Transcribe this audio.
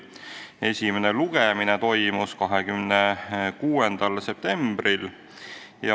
Esimene lugemine toimus 26. septembril.